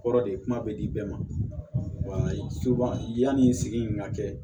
Kɔrɔ de ye kuma bɛ di bɛɛ ma yanni i sigi in ka kɛ